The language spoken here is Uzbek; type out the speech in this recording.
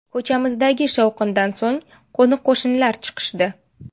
Ko‘chamizdagi shovqindan so‘ng qo‘ni-qo‘shnilar chiqishdi.